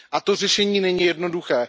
A to řešení není jednoduché.